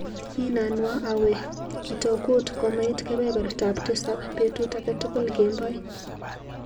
Inanwa awe kitokut komait kebebertap tisap betut akatukul kemboi.